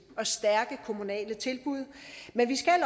og stærke kommunale tilbud men vi skal